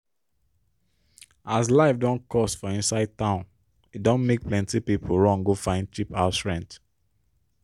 as life don cost for inside town e don make plenti pipo run go find cheap house rent.